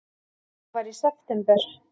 Það var í september.